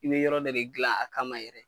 I bi yɔrɔ dɔ de gilan a kama yɛrɛ